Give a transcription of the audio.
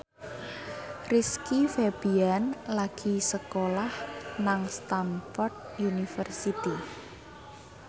Rizky Febian lagi sekolah nang Stamford University